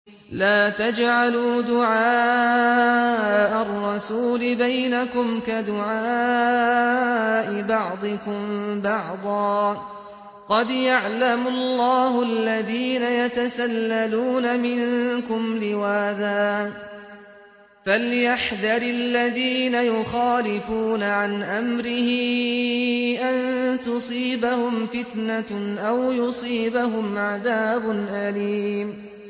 لَّا تَجْعَلُوا دُعَاءَ الرَّسُولِ بَيْنَكُمْ كَدُعَاءِ بَعْضِكُم بَعْضًا ۚ قَدْ يَعْلَمُ اللَّهُ الَّذِينَ يَتَسَلَّلُونَ مِنكُمْ لِوَاذًا ۚ فَلْيَحْذَرِ الَّذِينَ يُخَالِفُونَ عَنْ أَمْرِهِ أَن تُصِيبَهُمْ فِتْنَةٌ أَوْ يُصِيبَهُمْ عَذَابٌ أَلِيمٌ